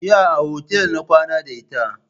Jiya a otal na kwana da ita.